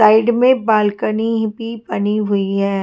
Side में balcony भी बनी हुई हैं।